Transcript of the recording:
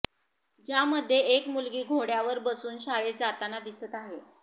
ज्यामध्ये एक मुलगी घोड्यावर बसून शाळेत जाताना दिसत आहे